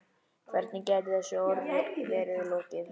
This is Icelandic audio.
Hvernig gæti þessu verið lokið?